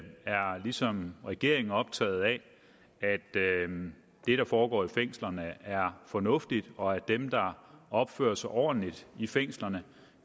ligesom regeringen optaget af at det der foregår i fængslerne er fornuftigt og at dem der opfører sig ordentligt i fængslerne